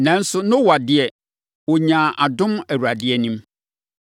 Nanso, Noa deɛ, ɔnyaa adom Awurade anim.